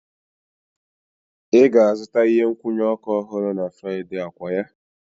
Ị ga-azụta ihe nkwụnye oku ọhụrụ na Fraịde, okwaya?